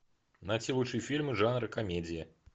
найти лучшие фильмы жанра комедия